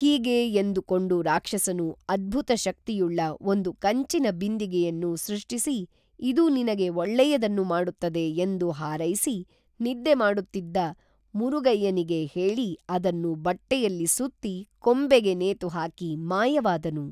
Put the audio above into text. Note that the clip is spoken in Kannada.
ಹೀಗೇ ಎಂದು ಕೊಂಡು ರಾಕ್ಷಸನು ಅದ್ಭುತ ಶಕ್ತಿಯುಳ್ಳ ಒಂದು ಕಂಚಿನ ಬಿಂದಿಗೆಯನ್ನು ಸೃಷ್ಟಿಸಿ ಇದು ನಿನಗೆ ಒಳ್ಳೆಯದನ್ನು ಮಾಡುತ್ತದೆ ಎಂದು ಹಾರೈಸಿ ನಿದ್ದೆ ಮಾಡುತ್ತಿದ್ದ ಮುರುಗಯ್ಯನಿಗೆ ಹೇಳಿ ಅದನ್ನು ಬಟ್ಟೆಯಲ್ಲಿ ಸುತ್ತಿ ಕೊಂಬೆಗೆ ನೇತು ಹಾಕಿ ಮಾಯವಾದನು